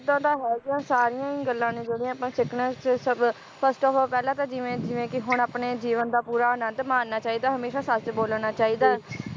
ਓਦਾਂ ਤਾਂ ਹੈਗਾ ਸਾਰੀਆਂ ਹੀ ਗੱਲਾਂ ਨੇ ਜਿਹੜੀਆਂ ਅੱਪਾਂ ਸਿੱਖਣੀਆਂ ਤੇ ਸਭ first of all ਪਹਿਲਾਂ ਤਾਂ ਜਿਵੇ ਜਿਵੇ ਕਿ ਹੁਣ ਆਪਣੇ ਜੀਵਨ ਦਾ ਪੂਰਾ ਆਨੰਦ ਮਾਣਨਾ ਚਾਹੀਦਾ, ਹਮੇਸ਼ਾ ਸੱਚ ਬੋਲਣਾ ਚਾਹੀਦਾ